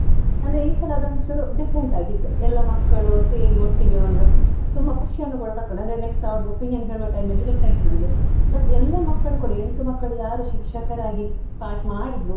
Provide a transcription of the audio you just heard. ಅಂದ್ರೆ ಈ ಸಲ ಅದೊಂದ್ ಚೂರು different ಆಗಿತ್ತು, ಎಲ್ಲ ಮಕ್ಕಳು ಸೇರಿ ಒಟ್ಟಿಗೆ ಒಂದು ತುಂಬಾ ಖುಷಿಯನ್ನು ಕೂಡ ಪಡ್ಕೊಂಡ್ರು, ಅಂದ್ರೆ next ಅವರ್ದು opinion ಹೇಳುವ time ಅಲ್ಲಿ ಗೊತ್ತಾಯ್ತು ನಮ್ಗೆ, but ಎಲ್ಲ ಮಕ್ಕಳೂ ಕೂಡ ಎಂಟು ಮಕ್ಕಳು ಯಾರು ಶಿಕ್ಷಕರಾಗಿ part ಮಾಡಿದ್ರು.